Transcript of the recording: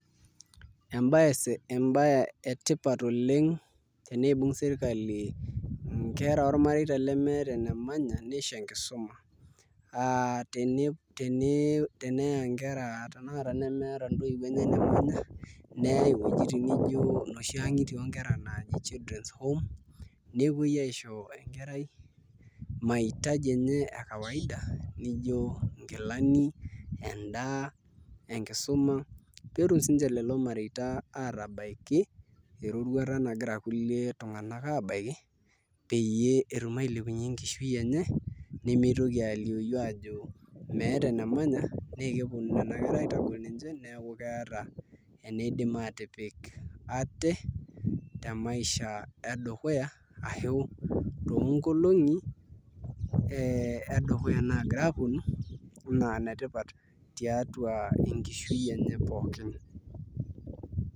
Embae etipat oleng tenibung' serikali inkera oormareita lemeta enemanya nisho enkisuma. Aa teneya inkera nemeeta intoiwuo, neyai inoshi wuejitin naaji children's home nepwoi aisho enkerai mahitaji enye e kawaida nijo inkilani, endaa, enkisuma, peetum siininche lelo mareita aatabaiki erorwata nagira kulie tung'anak kulie aabaiki peyie etum ailepunye enkishui enye nemitoki aalioyu ajo meeta enemanya naakepwonu nena kera aitagol ninche neeku keeta eneidim aatipik ate te maisha e dukuya ashu toonkolong'i e dukuya naagira apwonu naa inetipat tiatwa enkishui enye pookin.